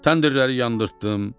Təndirləri yandartdım.